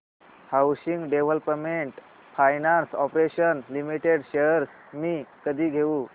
housing development finance corporation limited shares मी कधी घेऊ